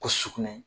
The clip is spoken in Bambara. Ko sugunɛ